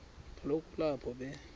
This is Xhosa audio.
kaloku kulapho be